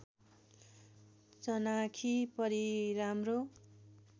चनाखी परी राम्रो